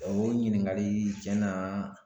o ɲininkali tiɲɛna.